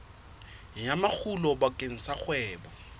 ya makgulo bakeng sa kgwebo